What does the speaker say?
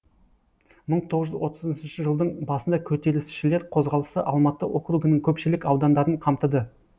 мың тоғыз жүз отызыншы жылдың басында көтерілісшілер қозғалысы алматы округінің көпшілік аудандарын қамтыды